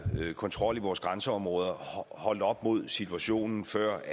kontrol i vores grænseområder holdt op mod situationen før